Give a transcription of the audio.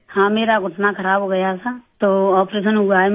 हाँ मेरा घुटना खराब हो गया था तो आपरेशन हुआ है मेरा